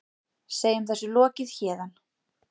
Segjum þessu lokið héðan.